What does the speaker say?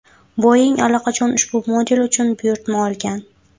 Boeing allaqachon ushbu model uchun buyurtma olgan.